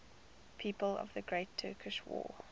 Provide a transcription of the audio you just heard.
people of the great turkish war